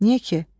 Niyə ki?